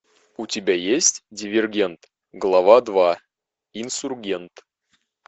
у тебя есть дивергент глава два инсургент